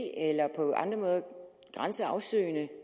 eller på andre måder grænseafsøgende